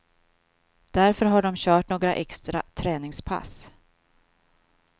Därför har dom kört några extra träningspass.